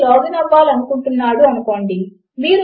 మీకు usernameమరియు పాస్వర్డ్ లు లభించాయి కనుక అది బాగానే ఉన్నది